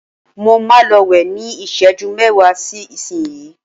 mo ma lọ wẹ́ ni iseju mẹwa sí isinyii